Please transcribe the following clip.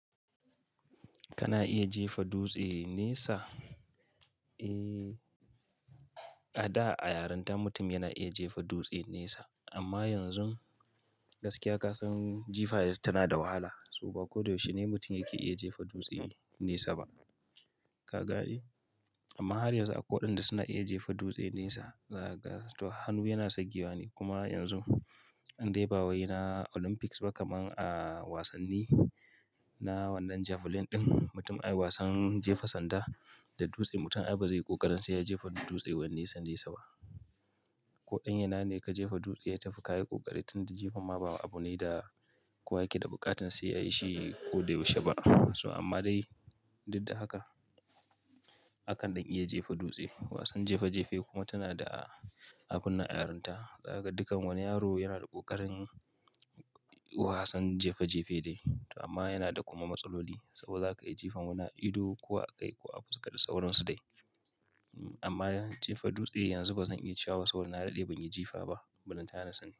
Kana iya jefa dutse nesa. A da a yaranta mutum yana iya jefa dutse nesa amma yanzu gaskiya ka san jifa tana da wahala saboda ko da yaushe ne mutum yake iya jefa dutse nesa ba. Ka gane? Amma har yanzu akwai waɗanda suna iya jefa dutse nesa. To hannu yana sagewa ne kuma yanzu in dai ba wai na Olympics ba kamar a wasanni na wannan javelin ɗin, mutum ai wasan jefa sanda da dutse mutum ai ba zai ƙoƙari sai ya jefa dutse wani nesa nesa ba. Koɗan yana ne ka jefa dutse ya tafi ka yi ƙoƙari tunda jefa ma ba abu ne da kowa yake da buƙatar sai ya yi shi ko da yaushe ba. Amma dai duk da haka, akan ɗan iya jefa dutse, wasan jefa jefe kuma tana da abun nan a yaranta. Dukan wani yaro yana da ƙoƙarin wasan jefa jefe dai to amma yana da kuma matsaloli saboda za ka jefa wani ido ko a kai ko fuska da sauransu dai. Amma jefa dutse yanzu bazan iya cewa saboda na dade ban yi jefa ba. Ballantana na sani.